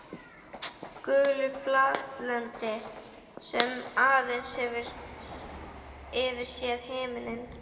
Gulu flatlendi sem aðeins hefur yfir sér himininn.